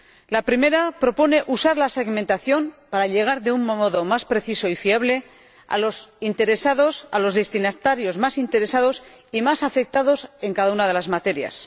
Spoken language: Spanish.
La primera propone usar la segmentación para llegar de un modo más preciso y fiable a los destinatarios más interesados y más afectados en cada una de las materias.